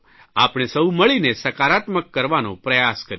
આપણે સૌ મળીને સકારાત્મક કરવાનો પ્રયાસ કરીએ